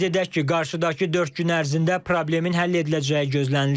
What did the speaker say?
Qeyd edək ki, qarşıdakı dörd gün ərzində problemin həll ediləcəyi gözlənilir.